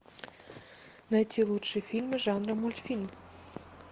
найти лучшие фильмы жанра мультфильм